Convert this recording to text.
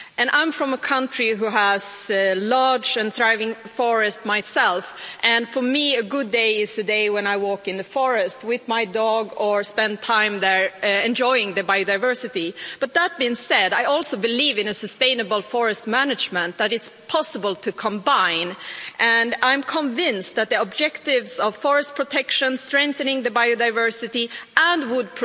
I'm from a country which has a large and thriving forest myself, and for me a good day is a day when I walk in the forest with my dog or spend time there enjoying the biodiversity. But that being said, I also believe in a sustainable forest management that it's possible to combine, and I'm convinced that the objectives of forest protection, strengthening biodiversity and wood